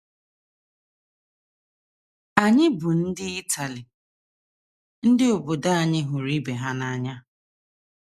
“ Anyị bụ ndị Itali. Ndị obodo anyị hụrụ ibe ha n’anya.